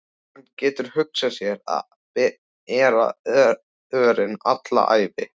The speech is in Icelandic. Hann getur hugsað sér að bera örin alla ævi.